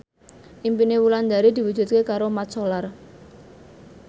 impine Wulandari diwujudke karo Mat Solar